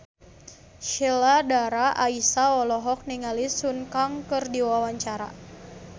Sheila Dara Aisha olohok ningali Sun Kang keur diwawancara